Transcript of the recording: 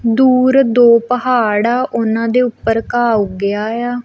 ਦੂਰ ਦੋ ਪਹਾੜ ਉਹਨਾਂ ਦੇ ਉੱਪਰ ਘਾ ਉੱਗਿਆ ਆ।